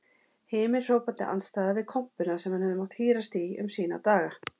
Himinhrópandi andstæða við kompuna sem hann hefur mátt hírast í um sína daga.